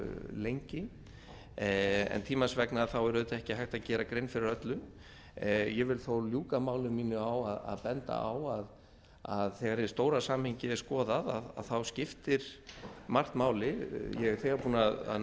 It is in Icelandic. lengi en tímans vegna er auðvitað ekki hægt að gera grein fyrir öllu ég vil þó ljúka máli mínu á að benda á að þegar hið stóra samhengi er skoðað þá skiptir margt máli ég er þegar búinn að